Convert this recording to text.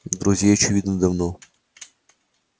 друзей очевидно давно